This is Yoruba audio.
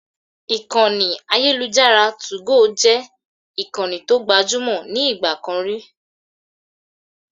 Ìkànnì ayélujára 2go jẹ́ ìkànnì tó gbajúmò ní ìgbà kan rí.